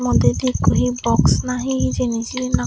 dete ekko je box na he hijeni sian.